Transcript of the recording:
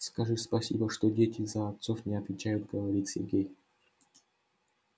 скажи спасибо что дети за отцов не отвечают говорит сергей